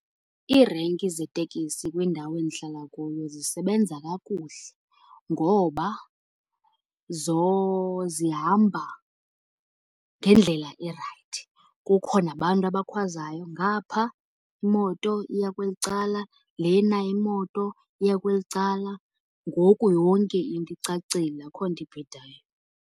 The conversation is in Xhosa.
Iirenki zeetekisi kwindawo endihlala kuyo zisebenza kakuhle ngoba zihamba ngendlela erayithi. Kukho nabantu abakhwazayo, ngapha imoto iya kweli cala, lena imoto iya kweli cala. Ngoku yonke into icacile, akho nto ibhidayo.